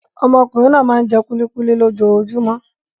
Ọmọkùnrin náà máa ń jẹ kúlíkúlí lójoojúmọ́.